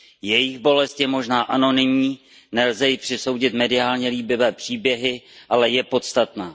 Jejich bolest je možná anonymní, nelze ji přisoudit mediálně líbivé příběhy, ale je podstatná.